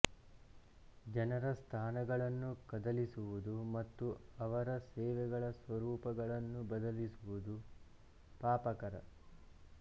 ಜನರ ಸ್ಥಾನಗಳನ್ನು ಕದಲಿಸುವುದು ಮತ್ತು ಅವರ ಸೇವೆಗಳ ಸ್ವರೂಪಗಳನ್ನು ಬದಲಿಸುವುದು ಪಾಪಕರ